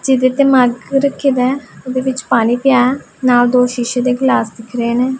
ਜਿਹਦੇ ਤੇ ਉਹਦੇ ਵਿੱਚ ਪਾਣੀ ਪਿਆ ਨਾਲ ਦੋ ਸ਼ੀਸ਼ੇ ਦੇ ਗਿਲਾਸ ਦਿੱਖ ਰਹੇ ਨੇਂ।